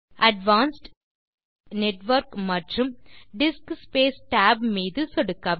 advanced select network மற்றும் disk space tab மீது சொடுக்கவும்